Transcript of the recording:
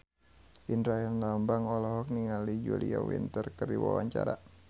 Indra Herlambang olohok ningali Julia Winter keur diwawancara